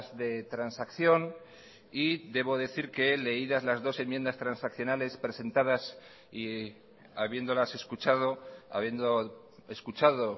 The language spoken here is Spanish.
de transacción y debo decir que leídas las dos enmiendas transaccionales presentadas y habiéndolas escuchado habiendo escuchado